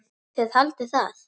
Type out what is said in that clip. Þið haldið það.